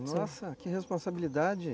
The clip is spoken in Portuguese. Nossa, que responsabilidade.